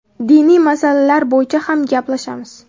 Diniy masalalar bo‘yicha ham gaplashamiz.